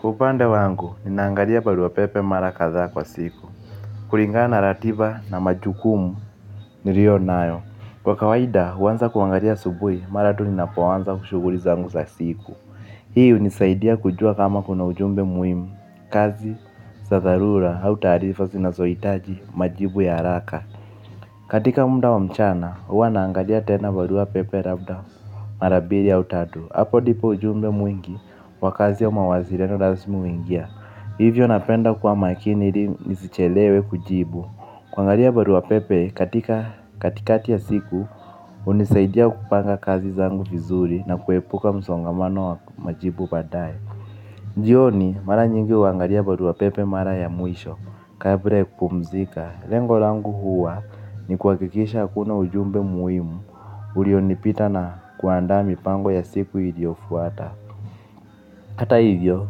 Kwa upande wangu, ninaangalia barua pepe mara kadhaa kwa siku. Kulingana na ratiba na majukumu niliyo nayo. Kwa kawaida, huanza kuangalia asubuhi, mara tu ninapoanza shughuli zangu za siku. Hii hunisaidia kujua kama kuna ujumbe muhimu, kazi, za dharura, au taarifa, sinazohitaji, majibu ya haraka. Katika muda wa mchana, huwa naangalia tena barua pepe labda mara mbili au tatu. Hapo ndipo ujumbe mwingi wa kazi ya mawasiliano na simu huingia. Hivyo napenda kuwa makini ili nisichelewe kujibu. Kuangalia barua pepe katika katikati ya siku hunisaidia kupanga kazi zangu vizuri na kuepuka msongamano wa majibu baadae jioni mara nyingi huangalia barua pepe mara ya mwisho. Kabla ya kupumzika lengo langu huwa ni kuhakikisha hakuna ujumbe muhimu ulionipita na kuandaa mipango ya siku iliyofuata. Hata hivyo,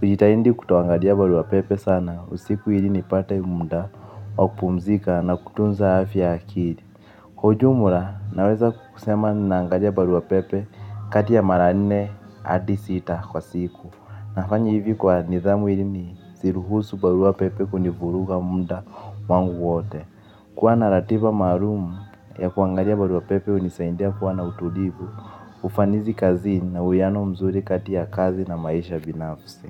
hujitahidi kuoangalia barua pepe sana. Usiku ili nipate muda wa kupumzika na kutunza afya ya akili. Kwa ujumla, naweza kusema naangalia barua pepe kati ya mara nne hadi sita kwa siku. Nafanya hivi kwa nidhamu ili nisiruhusu barua pepe kunivuruga muda wangu wote. Kwa na ratiba maalum ya kuangalia barua pepe hunisaidia kuwa na utulivu. Ufanizi kazini na uwiano mzuri kati ya kazi na maisha binafsi.